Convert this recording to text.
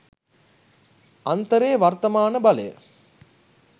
අන්තරේ වර්තමාන බලය